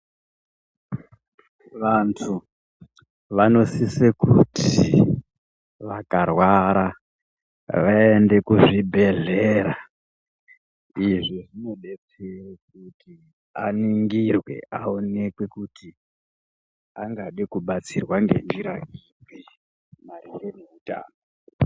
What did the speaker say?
Vantu vanosise kuti vakarwara vaende kuzvibhedhlera. Izvi zvinobetsere kuti aningirwe aonekwe kuti angade kubatsirwa ngenjira ipi maringe nehutano.